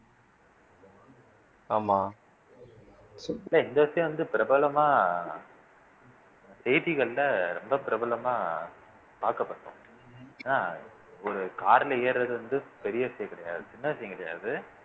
ஆமா இந்த விஷயம் வந்து பிரபலமா செய்திகள்ல ரொம்ப பிரபலமா பார்க்கப்பட்டோம் என்ன ஒரு car ல ஏறுறது வந்து பெரிய விஷயம் கிடையாது சின்ன விஷயம் கிடையாது